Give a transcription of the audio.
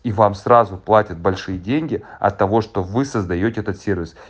и вам сразу платят большие деньги от того что вы создаёте этот сервис